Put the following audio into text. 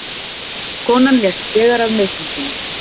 Konan lést þegar af meiðslum sínum